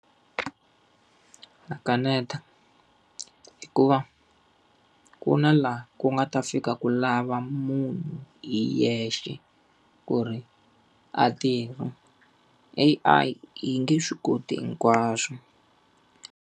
Na kaneta. Hikuva ku na laha ku nga ta fika ku lava munhu hi yexe, ku ri a tirha. A_I yi nge swi koti hinkwaswo.